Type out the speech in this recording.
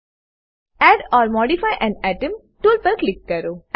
add or modify an atom tool પર click કરો